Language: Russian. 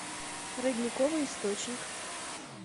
родниковый источник